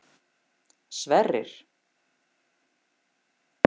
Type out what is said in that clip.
Sverrir